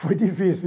Foi difícil.